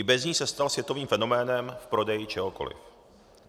I bez ní se stal světovým fenoménem v prodeji čehokoli.